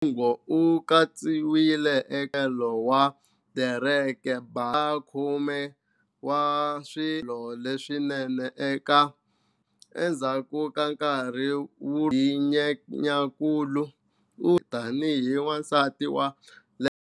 Nyong'o u katsiwile eka nxaxamelo wa Derek Blasberg wa 2013 wa swiambalo leswinene eka"Harper's Bazaar". Endzhaku ka nkarhi wolowo hi Nyenyankulu, u hlawuriwile tani hi" Wansati wa Lembe" hi"Glamour".